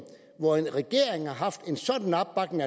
hvor en regering har haft en sådan opbakning